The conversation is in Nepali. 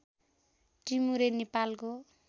टिमुरे नेपालको